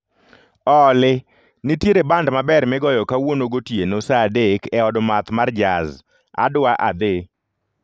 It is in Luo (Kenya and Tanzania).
Olly, nitiere band maber migoyo kawuono gotieno saa adek e od math mar jaz, adwa adhi